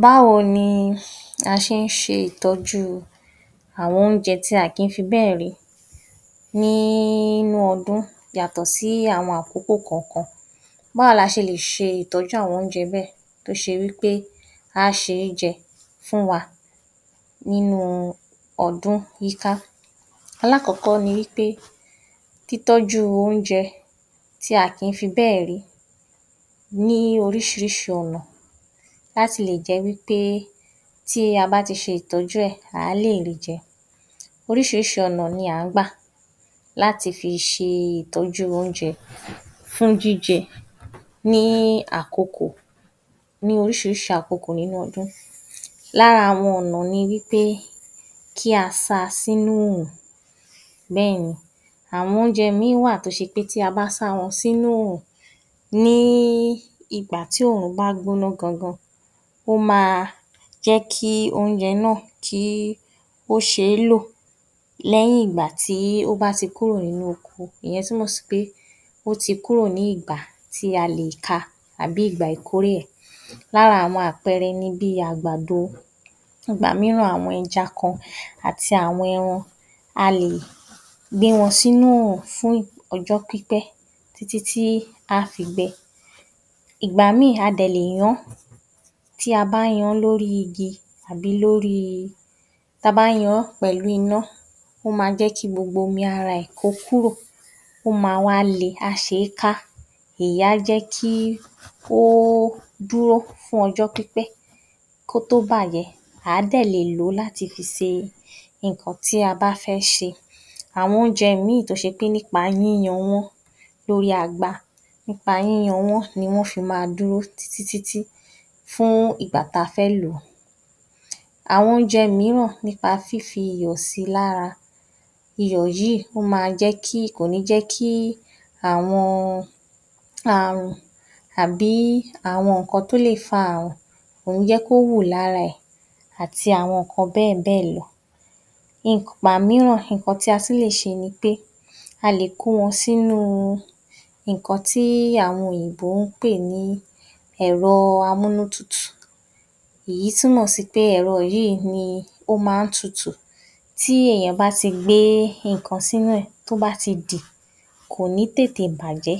Báwo ni a ṣe ń ṣe ìtọ́jú àwọn oúnjẹ tí a kò kí fi bẹ́ẹ̀ rí nínú ọdún yàtọ̀ sí àwọn àkókò kọ̀ọ̀kan? Báwo la ṣe lè ṣe ìtọ́jú àwọn oúnjẹ bẹ́ẹ̀ tó ṣe wí pé á ṣe é jẹ fún wa nínú ọdún yíká? Alákọ̀ọ́kọ́ nínú bí a ṣe lè tọ́jú oúnjẹ tí a kì í fi bẹ́ẹ̀ rí ní oríṣìíríṣìí ọ̀nà láti lè jẹ́ wí pé tí a bá ti ṣe ìtọ́jú ẹ a óò lè ri jẹ. Oríṣìíríṣìí ọ̀nà ni à ń gbà láti fi ṣe ìtọ́jú oúnjẹ ní àkokò ní oríṣìíríṣìí àkokò nínú ọdún. Lára àwọn ọ̀nà ni wí pé kí a sa sínú oòrùn. Bẹ́ẹ̀ ni, àwon oúnjẹ mìíràn wá à tó jẹ́ pé tí a bá sá wọn sínú oòrùn ní ìgbà tí oòrùn bá gbóná gangan ó máa jẹ́ kí oúnjẹ náà kí ó ṣe ń lò nígbà tí ó bá ti kúrò nínú oko, ìyẹn túmọ̀ sí wí pé ó ti kúrò ní ìgbà tí a lè ka tàbí ìgbà ìkórè ẹ, lára àwọn àpẹẹrẹ ni bí àgbàdo, ìgbà mìíràn àwọn ẹja kan àti àwọn ẹran a lè gbé wọn sínú oòrùn fún ọjọ́ pípẹ́, ìgbà mìíràn a dẹ̀ lè yán, ta bá yan - an lórí igi pẹ̀lú iná ó máa jẹ́ kí gbogbo omi ara ẹ ó kúrò ó máa wá le á ṣe é ká ìyẹn á jẹ́ kí kó dúró fún ọjọ́ pípẹ́ kò tó bàjẹ́ à á dẹ̀ lè lò ó fi ṣe nǹkan ta bá fẹ́ ṣe, àwọn oúnjẹ míì wá à tó ṣe wí pé nípa yíyan-an wọ́n lórí agba nípa yíyan wọn ná fi máa dúró fún ìgbà ta fẹ́ lò ó. Àwọn oúnjẹ mìíràn nípa fífi iyọ̀ si lára, iyọ̀ yìí ó máa jẹ́ kí, kò ní jẹ́ kí àwọn àrùn tàbí àwọn nǹkan tó lè fa àrùn kò ní jẹ́ kí ó hù lára ẹ àti àwọn nǹkan bẹ́ẹ̀ bẹ́ẹ̀ lọ. Ìgbà mìíràn nǹkan tí a tún lè ṣe ni pé a lè kó wọn sínú nǹkan tí àwọn òyìnbó ń pè ní ẹ̀rọ_amúnútutù, ìyí túmọ̀ sí wí pé ẹ̀rọ yìí ni ó máa ń tutù tí èèyàn bá ti gbé nǹkan sínú ẹ, tó bá ti dì kò ní tètè bàjẹ́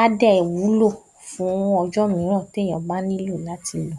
á dẹ̀ wúlò fún ọ̀jọ́ mìíràn tí èèyàn bá nílò láti lò ó.